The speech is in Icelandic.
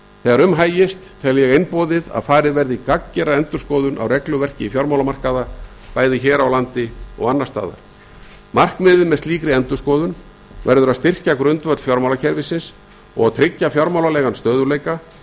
þegar um hægist tel ég einboðið að farið verði í gagngera endurskoðun á regluverki fjármálamarkaða bæði hér á landi og annars staðar markmiðið með slíkri endurskoðun verður að styrkja grundvöll fjármálakerfisins og tryggja fjármálalegan stöðugleika